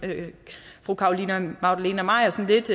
fru carolina magdalene maier lidt